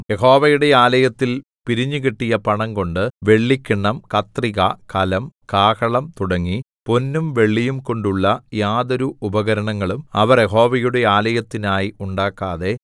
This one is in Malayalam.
യഹോവയുടെ ആലയത്തിൽ പിരിഞ്ഞുകിട്ടിയ പണം കൊണ്ട് വെള്ളിക്കിണ്ണം കത്രിക കലം കാഹളം തുടങ്ങി പൊന്നും വെള്ളിയും കൊണ്ടുള്ള യാതൊരു ഉപകരണങ്ങളും അവർ യഹോവയുടെ ആലയത്തിനായി ഉണ്ടാക്കാതെ